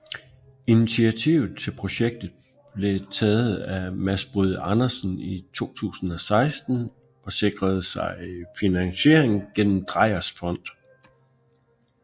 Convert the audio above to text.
Initiativet til projektet blev taget af Mads Bryde Andersen i 2016 og sikrede sig finansiering gennem Dreyers Fond